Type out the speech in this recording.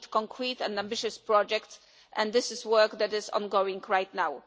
We need concrete and ambitious projects and this is work that is ongoing right now.